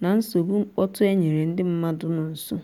na nsogbu mkpọtụ nyere ndị mmadụ nọ nso